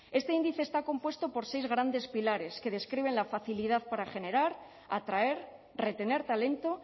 este índice está compuesto por seis grandes pilares que describen la facilidad para generar atraer retener talento